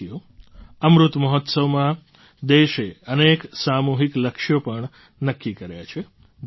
સાથીઓ અમૃત મહોત્સવમાં દેશે અનેક સામૂહિક લક્ષ્યો પણ નક્કી કર્યા છે